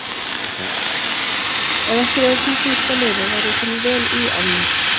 Ef ekki væri svona dýrt að lifa væri ég kominn vel í álnir.